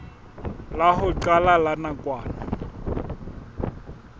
la ho qala la nakwana